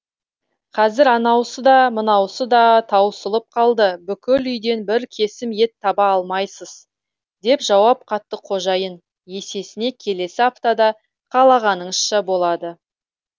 қазір анаусы да мынаусы да таусылып қалды бүкіл үйден бір кесім ет таба алмайсыз деп жауап қатты қожайын есесіне келесі аптада қалағаныңызша болады